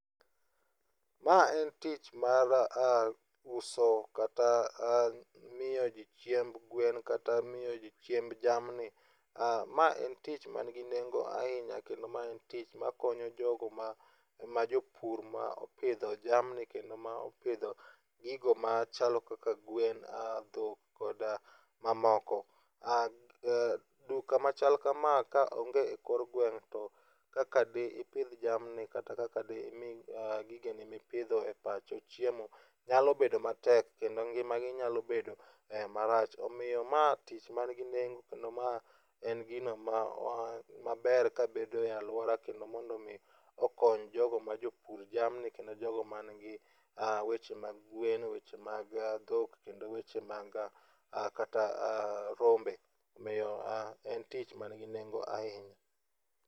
Mae en tich mar uso kata miyo ji chiemb gwen kata miyo ji chiemb jamni. Mae en tich manigi nengo ahinya kendo ma en tich makonyo jogo majo pur ma opidho jamni kendo ma opidho gigo machalo kaka gwen dhok koda mamoko. Duka machalo kama kaonge e kor gwen to kaka dipidh jamni kata dimi gigeni mipidho e pacho chiemo nyalo bedo matek kendo ngimagi nyalo bedo marach omiyo ma tich manigi nengo kendo ma en gino ma maber kabedo e aluora kendo mondo mi mokony jogo majopur jamni kendo jogo manigi weche mag gwen weche mag dhok kendo weche mag kata rombe . Omiyo en tich manigi nengo ahinya.